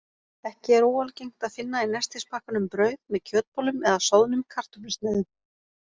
Ekki er óalgengt að finna í nestispakkanum brauð með kjötbollum eða soðnum kartöflusneiðum.